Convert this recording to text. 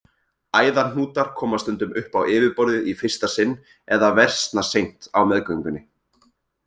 Æðahnútar koma stundum upp á yfirborðið í fyrsta sinn eða versna seint á meðgöngunni.